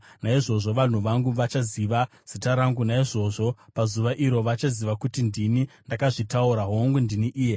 Naizvozvo vanhu vangu vachaziva zita rangu; naizvozvo pazuva iro vachaziva kuti ndini ndakazvitaura. Hongu, ndini iye.”